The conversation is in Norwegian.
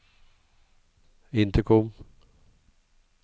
intercom